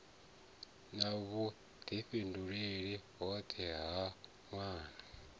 na vhudifhinduleli hoṱhe ha nwana